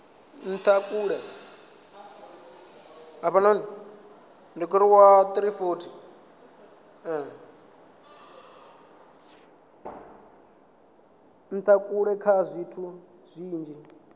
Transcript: ntha kale kha zwithu zwinzhi